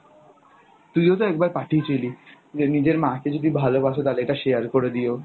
তুই ও তো একবার পাঠিয়েছিলি যে নিজের মা কে যদি ভালোবাসো তাহলে এটা share করে দিও।